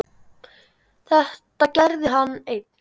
Þetta gerði hann einn.